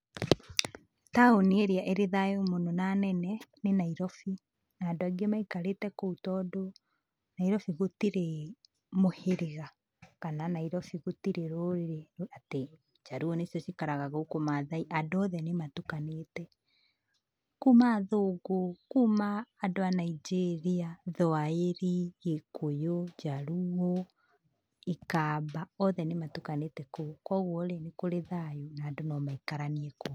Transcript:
Taũni ĩrĩa ĩrĩ thayũ mũno na nene, nĩ Nairobi, na andũ angĩ maikarĩte kũu tondũ, Nairobi gũtirĩ mũhĩrĩga, kana Nairobi gũtirĩ rũrĩrĩ, atĩ njaruo nĩcio cikaraga gũkũ mathai, andũ othe nĩmatukanĩte, kuma athũngũ, kuma andũ a Nigeria, thwaĩri, gĩkũyũ, njaruo, ikamba, othe nĩmatukanĩte kũu, koguo rĩ, nĩkũrĩ thayũ na andũ nomaikaranie kũu.